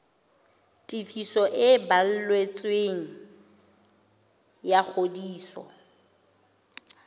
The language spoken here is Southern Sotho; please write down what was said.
tefiso e balletsweng ya ngodiso